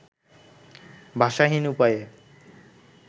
ভাষাহীন উপায়ে